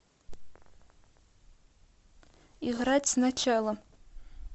играть сначала